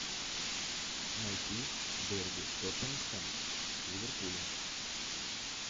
найти дерби тоттенхэм с ливерпулем